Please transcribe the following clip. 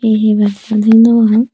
he nacchan thik no pangor.